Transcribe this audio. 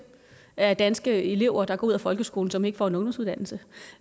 af de danske elever der går ud af folkeskolen som ikke får en ungdomsuddannelse